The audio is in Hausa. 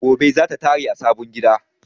Gobe zata tare a sabon gida